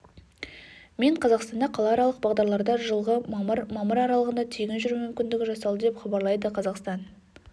мен қазақстанда қалааралық бағдарларда жылғы мамыр мамыр аралығында тегін жүру мүмкіндігі жасалды деп хабарлайды қазақстан